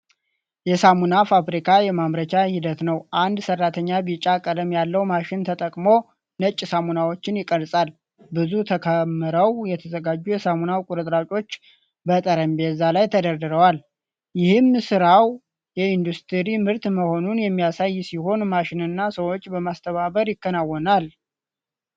የሳሙና ፋብሪካ የማምረቻ ሂደት ነው። አንድ ሠራተኛ ቢጫ ቀለም ያለው ማሽን ተጠቅሞ ነጭ ሳሙናዎችን ይቀርጻል። ብዙ ተከምረው የተዘጋጁ የሳሙና ቁርጥራጮች በጠረጴዛው ላይ ተደርድረዋል ። ይህም ሥራው የኢንዱስትሪ ምርት መሆኑን የሚያሳይ ሲሆን፣ ማሽንና ሰዎችን በማስተባበር ይከናወናል።